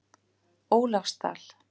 Ólafsdal